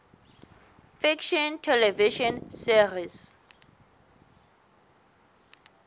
fiction television series